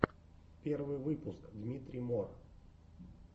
первый выпуск дмитрий мор